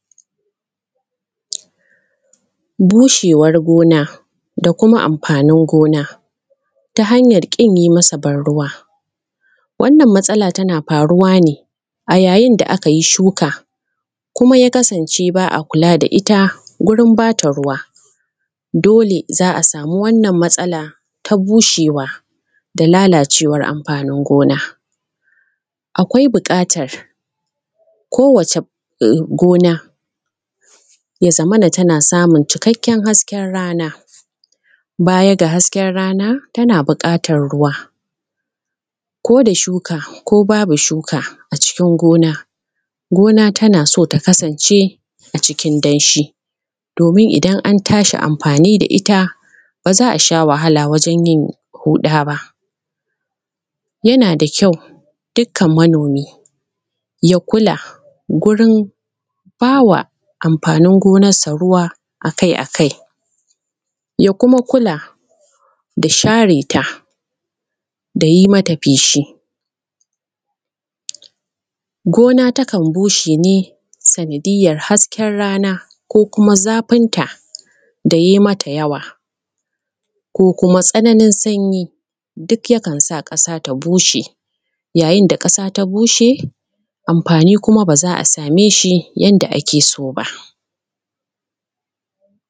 Bushewar gona da kuma amfanin gona ta hanyan ƙin yi masa banruwa wannan matsala tana faruwa ne a yayin da muka yi shuka kuma ya kasance ba a kula da ita gurin bata ruwa. Dole za a samu wannan matsala ta bushewa da lalacewan amfanin gona, akwai buƙatar ko wace gona ya zamana tana samun cikakken hasken rana; baya ga hasken rana tana buƙatan ruwa koda shuka ko babu shuka a cikin gona, gona tana so ta kasance a cikin danshi domin idan an tashi amfani da ita ba za a sha wahala wajen yin huɗa ba. Yana da kyau dukkan manomi ya kula wurin bawa amfanin gonansa ruwa akai-akai ya kuma kula da share ta da yi mata feshi, gona takan bushe ne sanadiyan hasken rana ko kuma zafinta da ya yi mata yawa ko kuma tsananin sanyi duk yakan sa ƙasa ya bushe yayin da ƙasa ya bushe amfani kuma ba za a same shi yanda ake so ba.